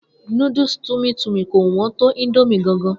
Noodles tummy tummy kò wọn tó indomie gan gan